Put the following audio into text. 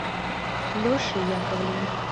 лешей яковлевым